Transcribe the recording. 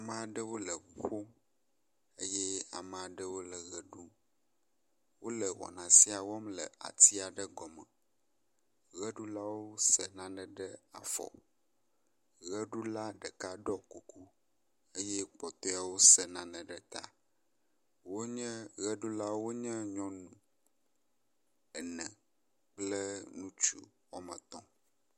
Maɖewo le ŋu ƒom eye ame aɖewo le ʋe ɖum. Wo le wɔna sia wɔm le ati aɖe gɔme. Ʋeɖulawo se nane ɖe afɔ. Ʋeɖula ɖeka ɖɔ kuku eye kpɔtɔewo se nane ɖe ta. Wonye ʋeɖulawo wonye nyɔnu ene kple ŋutsu wɔme etɔ̃.